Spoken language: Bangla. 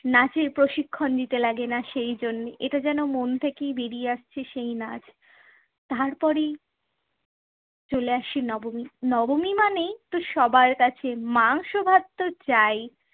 নাচের প্রশিক্ষণ নিতে লাগে না সেই জন্যে এটা যেন মন থেকেই বেরিয়ে আসছে সেই নাচ। তারপরেই চলে আসে নবমী। নবমী মানেই তো সবাই কাছে মাংস ভাত তো চাই।